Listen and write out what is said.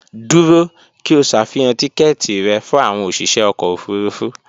Dúró! kí o ṣàfihàn tíkẹ́ẹ̀tì rẹ fún àwọn òsìṣẹ́ ọkọ̀ òfurufú